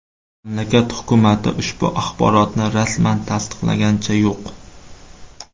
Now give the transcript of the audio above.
Mamlakat hukumati ushbu axborotni rasman tasdiqlaganicha yo‘q.